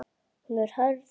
Hún er hörð.